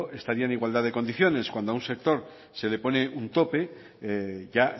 estaría en igualdad de condiciones cuando a un sector se le pone un tope ya